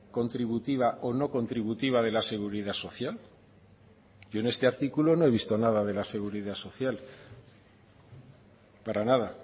contributiva o no contributiva de la seguridad social yo en este artículo no he visto nada de la seguridad social para nada